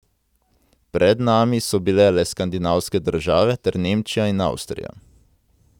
Pred nami so bile le skandinavske države ter Nemčija in Avstrija.